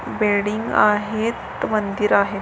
Building आहेत मंदिर आहेत.